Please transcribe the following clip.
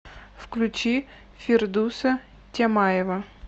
включи фирдуса тямаева